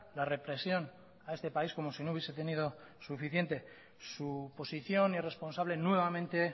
la represión a este país como si no hubiese tenido suficiente su posición irresponsable nuevamente